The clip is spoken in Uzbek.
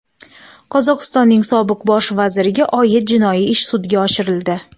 Qozog‘istonning sobiq bosh vaziriga oid jinoiy ish sudga oshirildi.